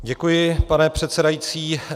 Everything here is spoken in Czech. Děkuji, pane předsedající.